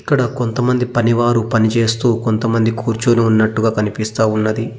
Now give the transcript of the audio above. ఇక్కడ కొంత మంది పని వారు పనిచేస్తూ కొంత మంది కూర్చొని ఉన్నట్టుగా కనిపిస్తా ఉన్నది.